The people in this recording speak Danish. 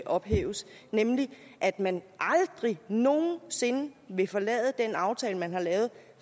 ophæves nemlig at man aldrig nogen sinde vil forlade den aftale man har lavet